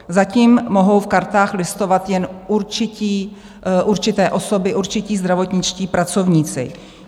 Zatím mohou v kartách listovat jen určité osoby, určití zdravotničtí pracovníci.